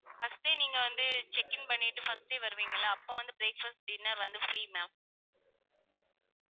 First நீங்க வந்து check in பண்ணிட்டு first day வருவிங்கள்ள அப்ப வந்து breakfast, dinner வந்து free ma'am